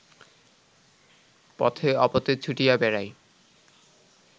পথে অপথে ছুটিয়া বেড়ায়